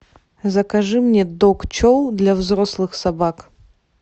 закажи мне дог чоу для взрослых собак